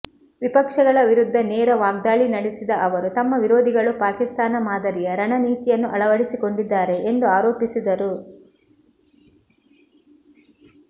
ವಿಪಕ್ಷಗಳ ವಿರುದ್ದ ನೇರ ವಾಗ್ದಾಳಿ ನಡೆಸಿದ ಅವರು ತಮ್ಮ ವಿರೋಧಿಗಳು ಪಾಕಿಸ್ತಾನ ಮಾದರಿಯ ರಣನೀತಿಯನ್ನು ಅಳವಡಿಸಿಕೊಂಡಿದ್ದಾರೆ ಎಂದು ಆರೋಪಿಸಿದರು